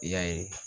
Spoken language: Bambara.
I y'a ye